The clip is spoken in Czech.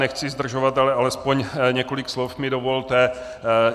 Nechci zdržovat, ale alespoň několik slov mi dovolte.